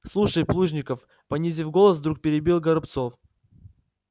слушай плужников понизив голос вдруг перебил горобцов